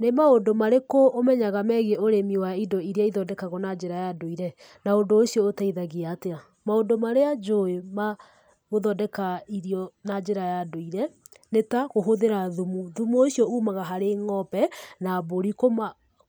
Nĩ maũndũ marĩkũ ũmenyaga megiĩ ũrĩmi wa indo iria ithondekagwo na njĩra ya ndũire, na ũndũ ũcio ũteithagia atĩa? Maũndũ marĩa njũĩ ma gũthondeka irio na njĩra ya ndũire nĩ ta kũhũthĩra thumu. Thumu ũcio umaga harĩ ng'ombe na mbũri, ?